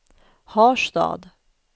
Harstad